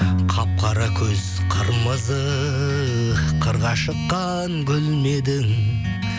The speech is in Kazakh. қап қара көз қырмызы қырға шыққан гүл ме едің